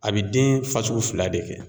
A bɛ den fasugu fila de kɛ